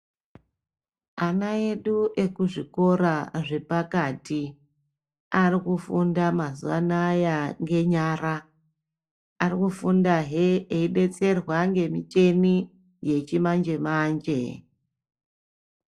Ana edu ekuzvikora zvepakati arikufunda mazuwanaya ngenyara. Ari kufundahe eidetserwa nemichini yechimanje manje.